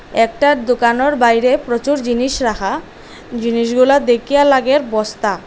একটা দুকানোর বাইরে প্রচুর জিনিস রাখা জিনিসগুলা দেখিয়া লাগে বস্তা।